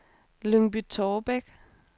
Lyngby-Taarbæk